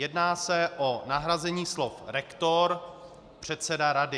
Jedná se o nahrazení slov rektor - předseda rady.